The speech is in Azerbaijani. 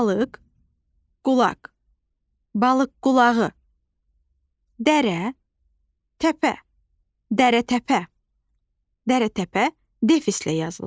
Balıq qulaq, balıq qulağı, dərə təpə, dərətəpə defislə yazılır.